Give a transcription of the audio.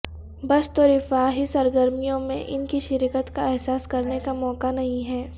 بس تو رفاہی سرگرمیوں میں ان کی شرکت کا احساس کرنے کا موقع نہیں ہے